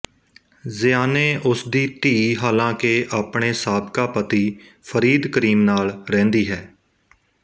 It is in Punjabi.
ਜ਼ਿਆਨੇ ਉਸ ਦੀ ਧੀ ਹਾਲਾਂਕਿ ਆਪਣੇ ਸਾਬਕਾ ਪਤੀ ਫਰੀਦ ਕਰੀਮ ਨਾਲ ਰਹਿੰਦੀ ਹੈ